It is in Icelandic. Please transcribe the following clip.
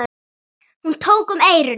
Hún tók um eyrun.